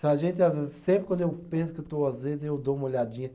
A gente às vezes, sempre quando eu penso que eu estou às vezes, eu dou uma olhadinha.